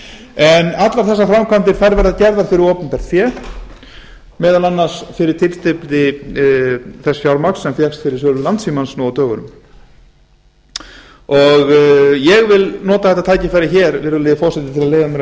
en allar þessar framkvæmdir verða gerðar fyrir opinbert fé meðal annars fyrir tilstilli þess fjármagns sem fékkst fyrir sölu landssímans nú á dögunum ég vil nota þetta tækifæri virðulega forseti til að leyfa mér að